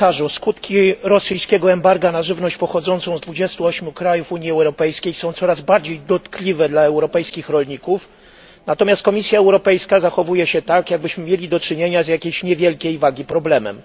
Skutki rosyjskiego embarga na żywność pochodzącą z 28 krajów Unii Europejskiej są coraz bardziej dotkliwe dla europejskich rolników, natomiast Komisja Europejska zachowuje się tak, jakbyśmy mieli do czynienia z jakimś niewielkiej wagi problemem.